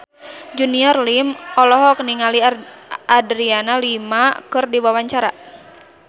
Junior Liem olohok ningali Adriana Lima keur diwawancara